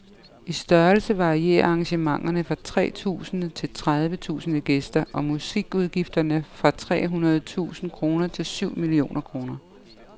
I størrelse varierer arrangementerne fra tre tusinde til tredive tusinde gæster, og musikudgifterne fra tre hundrede tusinde kroner til syv millioner kroner.